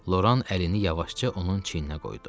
Loran əlini yavaşca onun çiyninə qoydu.